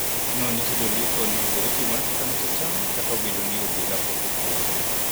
Noniso jondiko ni budho dhitimore kaka nosechan kata obedo ni obila pok opuodhe.